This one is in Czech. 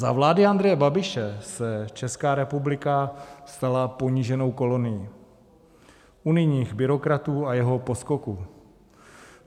Za vlády Andreje Babiše se Česká republika stala poníženou kolonií unijních byrokratů a jeho poskoků.